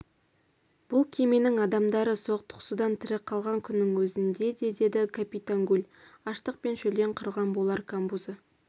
бұл кеменің адамдары соқтығысудан тірі қалған күннің өзінде де деді капитан гуль аштық пен шөлден қырылған болар камбузы